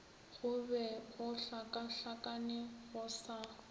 go be gohlakahlakane go sa